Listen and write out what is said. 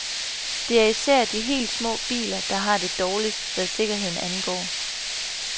Det er især de helt små biler, der har det dårligt, hvad sikkerheden angår.